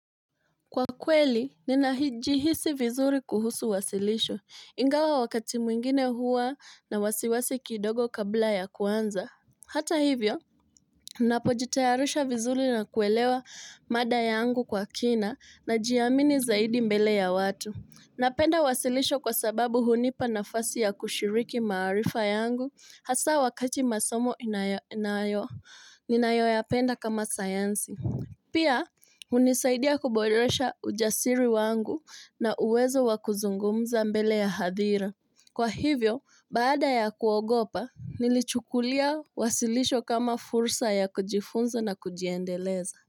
Kwa kweli, ninahijihisi vizuri kuhusu wasilisho, ingawa wakati mwingine hua na wasiwasi kidogo kabla ya kuanza. Hata hivyo, ninapo jitayarisha vizuri na kuelewa mada yangu kwa kina najiamini zaidi mbele ya watu. Napenda wasilisho kwa sababu hunipa nafasi ya kushiriki marifa yangu, hasa wakati masomo ninayoyapenda kama sayansi. Pia, hunisaidia kuboresha ujasiri wangu na uwezo wakuzungumza mbele ya hadhira. Kwa hivyo, baada ya kuogopa, nilichukulia wasilisho kama fursa ya kujifunza na kujiendeleza.